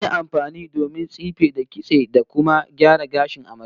An yi amfani da mai domin tsife, da kitse, da kuma gyara gashin amaryar